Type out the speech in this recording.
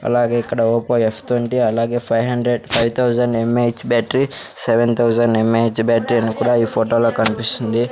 అలాగే ఇక్కడ Oppo F twenty అలాగే five hundred five thousand M A H battery seven thousand M A H battery అని ఈ ఫోటోలో కనిపిస్తుంది.